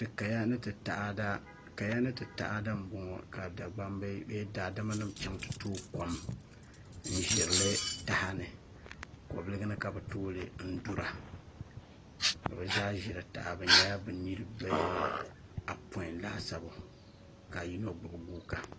Ti kaya ni ti taada n boŋo ka dagbambi bee daadama nim chɛŋ ti tooi kom n ʒirili taha ni kobiligi ni ka bi tooli n dura ka bi zaa ʒiri taha bi nyɛla bi niraba apoin laasabu ka yino gbubi guuka